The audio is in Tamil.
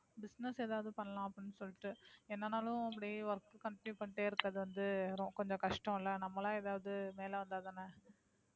business எதாவது பண்ணலாம் அப்படின்னு சொல்லிட்டு. என்னனாலும் அப்படியே work continue பண்ணிட்டே இருக்குறது வந்து கொஞ்சம் கஷ்டம்ல நம்மளா எதாவது மேல வந்தா தானே.